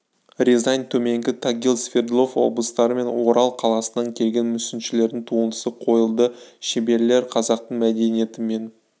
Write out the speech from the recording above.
рязань төменгі тагил свердлов облыстары мен орал қаласынан келген мүсіншілердің туындысы қойылды шеберлер қазақтың мәдениеті мен